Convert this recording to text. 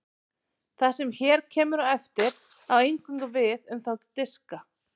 Það sem hér kemur á eftir á eingöngu við um þá diska.